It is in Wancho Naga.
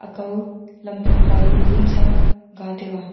kau lam phang kaudu vunsa ga taiga.